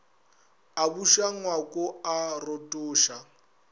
a buša ngwako a rotoša